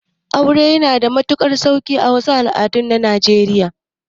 Aure yana da matuƙar sauƙi a wasu al'adun na najeriya